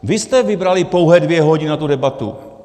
Vy jste vybrali pouhé dvě hodiny na tu debatu.